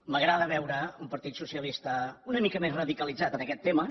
m’agrada veure un partit socialista una mica més radicalitzat en aquest tema